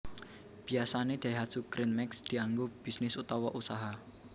Biyasane Daihatsu Gran Max dianggo bisnis utawa usaha